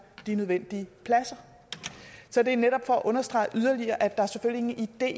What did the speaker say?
de nødvendige pladser så det er netop for at understrege yderligere at der selvfølgelig ikke er